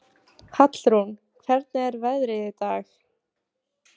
Hallrún, hvernig er veðrið í dag?